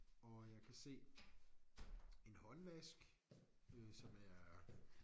Og jeg kan se en håndvask som øh er